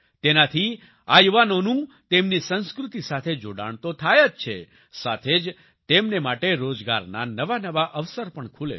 તેનાથી આ યુવાનોનું તેમની સંસ્કૃતિ સાથે જોડાણ તો થાય જ છે સાથે જ તેમને માટે રોજગારના નવા નવા અવસર પણ ખૂલે છે